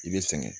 I bɛ sɛgɛn